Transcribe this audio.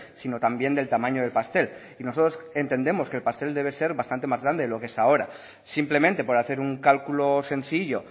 sino también del tamaño de pastel y nosotros entendemos que el pastel debe ser bastante más grande de lo que es ahora simplemente por hacer un cálculo sencillo